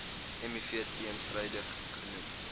miv teenstrydig genoem